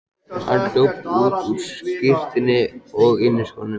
Hann hljóp út á skyrtunni og inniskónum.